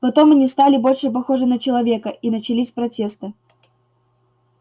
потом они стали больше похожи на человека и начались протесты